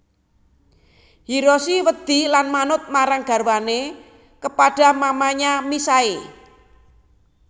Hiroshi wedi lan manut marang garwane kepada mamanya misae